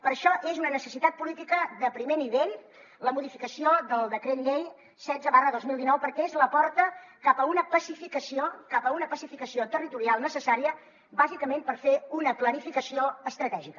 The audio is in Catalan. per això és una necessitat política de primer nivell la modificació del decret llei setze dos mil dinou perquè és la porta cap a una pacificació territorial necessària bàsicament per fer una planificació estratègica